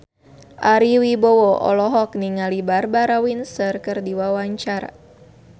Ari Wibowo olohok ningali Barbara Windsor keur diwawancara